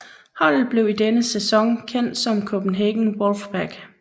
Holdet blev i denne sæson kendt som Copenhagen Wolfpack